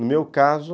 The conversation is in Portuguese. No meu caso...